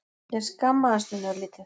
Ég skammaðist mín örlítið.